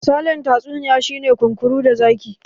Misalin tatsuniya shi ne "kunkuru da zaki".